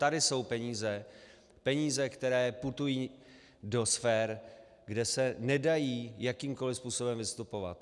Tady jsou peníze, peníze, které putují do sfér, kde se nedají jakýmkoli způsobem vystopovat.